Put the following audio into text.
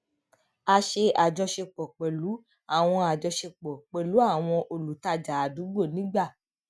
a ṣe ajọṣepọ pẹlú àwọn ajọṣepọ pẹlú àwọn olùtajà àdúgbò nígbà